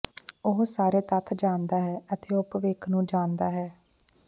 ਉਹ ਸਾਰੇ ਤੱਥ ਜਾਣਦਾ ਹੈ ਅਤੇ ਉਹ ਭਵਿੱਖ ਨੂੰ ਜਾਣਦਾ ਹੈ